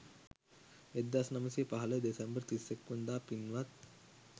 1915 December 31 වනදා පින්වත්